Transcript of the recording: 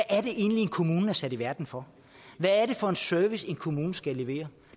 er det egentlig en kommune er sat i verden for hvad er det for en service en kommune skal levere